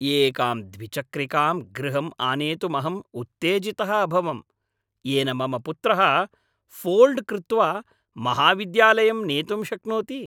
एकां द्विचक्रिकां गृहं आनेतुमहम् उत्तेजितः अभवं, येनं मम पुत्रः फ़ोल्ड् कृत्वा महाविद्यालयं नेतुं शक्नोति।